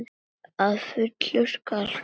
Að fullu skal greiða